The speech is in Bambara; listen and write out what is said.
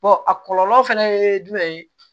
a kɔlɔlɔ fɛnɛ ye jumɛn ye